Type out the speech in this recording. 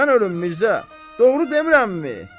Mən ölüm Mirzə, doğru demirəmmi?